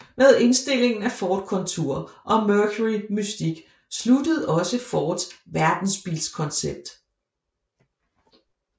Med indstillingen af Ford Contour og Mercury Mystique sluttede også Fords verdensbilskoncept